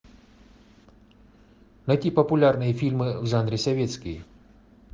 найти популярные фильмы в жанре советский